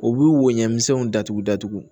U b'u woɲɛmisɛnw datugu datugu